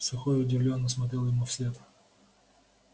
сухой удивлённо смотрел ему вслед